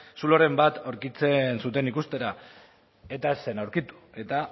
zuloren bat aurkitzen zuten ikustera eta ez zen aurkitu eta